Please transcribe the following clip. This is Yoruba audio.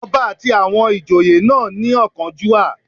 Ọba àti àwọn ìjòyè náà ní ọ̀kánjúà